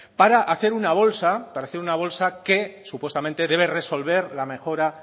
para hacer una bolsa para hacer una bolsa que supuestamente debe resolver la mejora